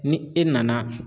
Ni e nana.